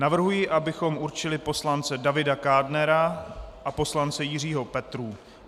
Navrhuji, abychom určili poslance Davida Kádnera a poslance Jiřího Petrů.